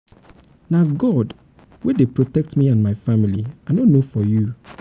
na god wey dey protect me and my family. i no know for you. for you.